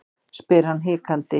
spyr hann hikandi.